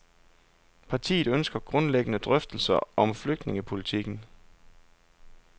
Partiet ønsker grundlæggende drøftelser om flygtningepolitikken.